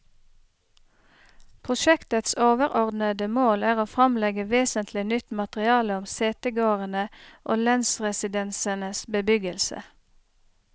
Prosjektets overordede mål er å fremlegge vesentlig nytt materiale om setegårdene og lensresidensenes bebyggelse.